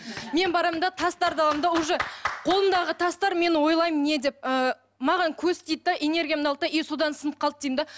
мен барамын да тастарды аламын да уже қолымдағы тастар мен ойлаймын не деп ы маған көз тиді де энергиямды алды да и содан сынып қалды деймін де